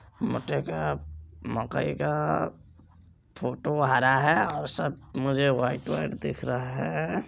मटर का मकई का फोटो हरा है और सब मुझे व्हाइट व्हाइट दिख रहा है|